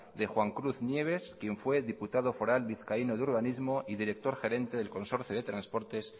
de juan cruz nieves quien fue diputado foral vizcaíno de urbanismo y director gerente del consorcio de transportes